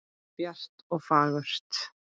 Bjart og fagurt.